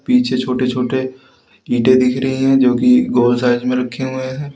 पीछे छोटे छोटे ईंटे दिख रहे हैं जो की गोल साइज में रखे हुए हैं।